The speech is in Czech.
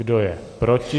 Kdo je proti?